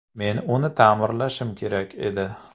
Men uni ta’mirlashim kerak edi.